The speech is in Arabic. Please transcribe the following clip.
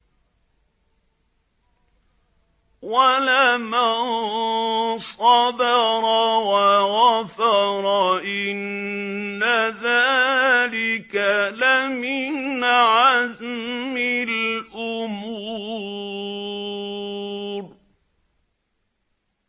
وَلَمَن صَبَرَ وَغَفَرَ إِنَّ ذَٰلِكَ لَمِنْ عَزْمِ الْأُمُورِ